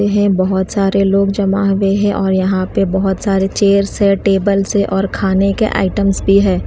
यह बहुत सारे लोग जमा भी है और यहां पे बहुत सारे चेयर्स है टेबल्स है और खाने के आईटम्स भी है।